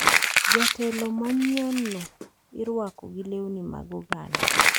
Jatelo manyienno irwako gi lewni mag oganda,